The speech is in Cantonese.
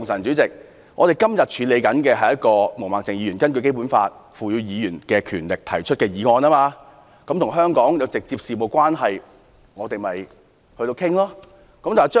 本會目前處理的是毛孟靜議員根據《基本法》賦予議員權力動議的議案，與香港事務直接相關，我們必須討論。